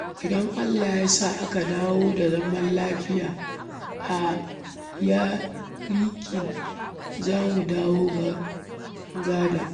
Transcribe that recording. Idan Allah ya sa aka dawo da zaman lafiya a yankin, za mu dawo gida.